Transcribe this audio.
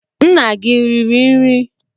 Nna gi riri nri?